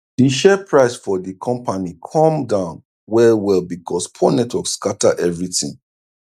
d share price for d compani cum down well well becos poor network scatter everi tin